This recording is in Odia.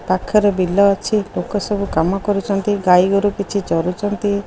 ପାଖରେ ବିଲ ଅଛି ଲୋକ ସବୁ କାମ କରୁଛନ୍ତି ଗାଈଗୋରୁ କିଛି ଚରୁଛନ୍ତି।